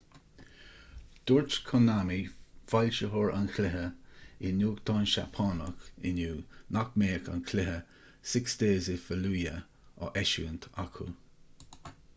dúirt konami foilsitheoir an chluiche i nuachtán seapánach inniu nach mbeadh an cluiche six days in fallujah á eisiúint acu